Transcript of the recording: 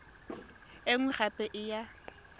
e nngwe gape e ya